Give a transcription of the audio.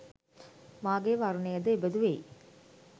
මාගේ වර්ණය ද එබඳු වෙයි